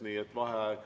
Nii et juhataja vaheaeg.